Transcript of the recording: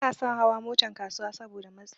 Banason hawan Motan kasuwa Saboda matsi